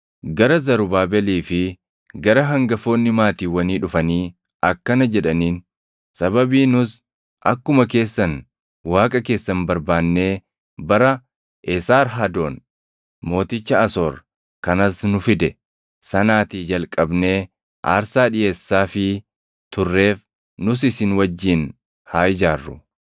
gara Zarubaabelii fi gara hangafoonni maatiiwwanii dhufanii akkana jedhaniin; “Sababii nus akkuma keessan Waaqa keessan barbaannee bara Eesarhadoon mooticha Asoor kan as nu fide sanaatii jalqabnee aarsaa dhiʼeessafii turreef nus isin wajjin haa ijaarru.”